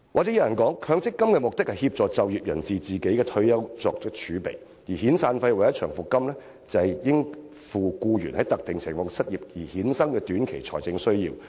有人會說強積金的目的是協助就業人士為退休生活作儲備，而遣散費或長期服務金則為應付僱員在特定情況下失業的短期財政需要而設。